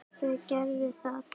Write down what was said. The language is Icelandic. Þau gerðu það.